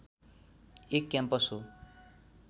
एक क्याम्पस हो